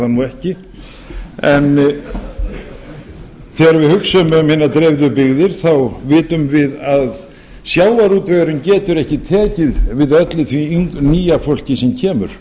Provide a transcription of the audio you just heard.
ekki en þegar við hugsum um hinar dreifðu byggðir vitum við að sjávarútvegurinn getur ekki tekið við öllu því nýja fólki sem kemur